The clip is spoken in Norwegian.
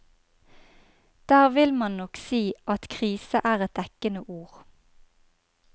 Der vil man nok si at krise er et dekkende ord.